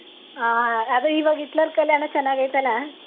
ಹಾ ಅದೇ ಈವಾಗ್ ಹಿಟ್ಲರ್ ಕಲ್ಯಾಣ ಚನ್ನಾಗೈತಲ್ಲ.